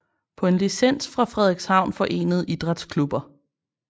På en licens fra Frederikshavn forenede Idrætsklubber